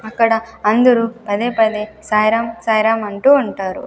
అక్కడ అందరూ పదేపదే సాయిరాం సాయిరాం అంటూ ఉంటారు.